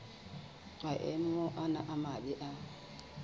maemo ana a mabe a